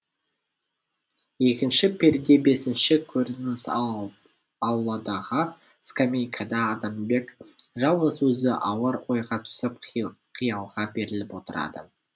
екінші перде бесінші көрініс ауладағы скамейкада адамбек жалғыз өзі ауыр ойға түсіп қиялға беріліп отырады